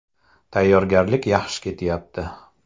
Tayyorgarlik yaxshi ketyapti.